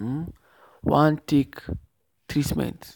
um wan take treatment.